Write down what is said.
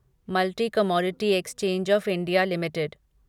multi commodity exchange of India limited